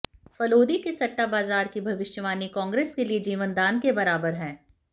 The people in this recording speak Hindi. फलोदी के सट्टा बाज़ार की भविष्यवाणी कांग्रेस के लिए जीवनदान के बराबर है